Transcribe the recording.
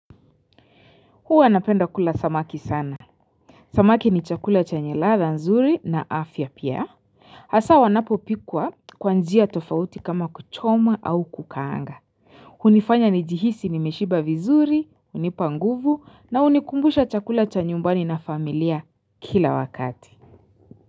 Huwa napenda kula samaki sana. Samaki ni chakula chenye ladha nzuri na afya pia. Hasa wanapo pikwa kwa njia tofauti kama kuchoma au kukaanga. Unifanya ni jihisi nimeshiba vizuri, unipa nguvu na unikumbusha chakula cha nyumbani na familia kila wakati.